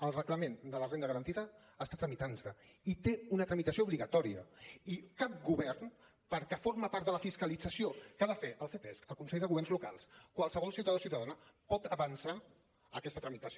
el reglament de la renda garantida està tramitant se i té una tramitació obligatòria i cap govern perquè forma part de la fiscalització que ha de fer el ctesc el consell de governs locals qualsevol ciutadà o ciutadana pot avançar aquesta tramitació